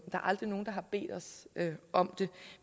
er aldrig nogen der har bedt os om det